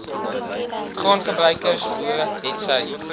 grondgebruikers boere hetsy